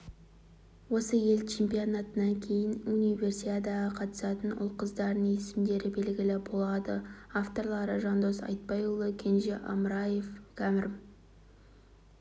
осы ел чемпионатынан кейін универсиадаға қатысатын ұл-қыздардың есімдері белгілі болады авторлары жандос айтбайұлы кенже амраев кәрім